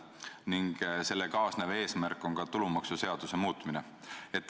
Ning selle kaasnev eesmärk on tulumaksuseaduse muutmine.